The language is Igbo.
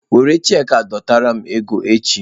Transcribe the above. Were cheeki a dọtara m ego echi!